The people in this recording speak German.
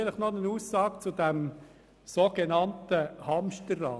Vielleicht noch eine Aussage zum sogenannten Hamsterrad: